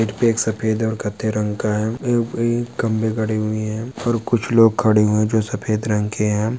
सफ़ेद और कथे रंग का है एउप खंबे खड़ी हुई है और कुच्छ लोग खड़े हुए जो सफ़ेद रंग के है।